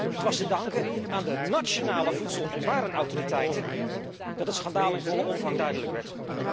Het was te danken aan de nationale voedsel en warenautoriteiten dat het schandaal in volle omvang duidelijk werd.